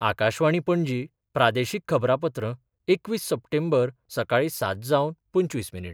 आकाशवाणी, पणजी प्रादेशीक खबरांपत्र एकवीस सप्टेंबर, सकाळी सात जावन पंचवीस मिनीट